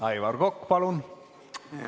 Aivar Kokk, palun!